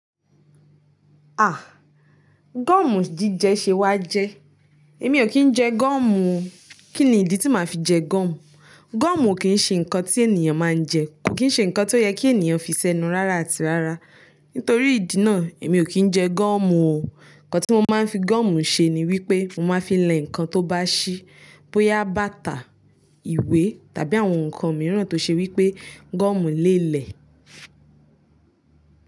Ah! Gọ́ọ̀mù jíjẹ ṣe wá jẹ́. Èmi ò kí ń jẹ gọ́ọ̀mù. Kí ni ìdí tí màá fi jẹ gọ́ọ̀mù? Gọ́ọ̀mù o kì n ṣe nǹkan tí ènìyàn máa ń jẹ, kò kì n ṣe nǹkan tó yẹ kí ènìyàn fi sẹ́nu rárá àti rárá. Nítorí ìdí náà, èmi ò kí ń jẹ gọ́ọ̀mù o. Ǹkan tí mo máa ń fi gọ́ọ̀mù ṣe ni wípé mo máa n fi lẹ̀ ǹkan tó bá ṣí bóyá bàtà, ìwé tàbí àwọn ǹkan mìíràn tó ṣe wípé gọ́ọ̀mù lè lẹ̀.